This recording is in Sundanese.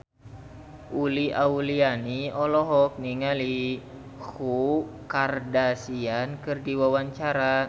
Uli Auliani olohok ningali Khloe Kardashian keur diwawancara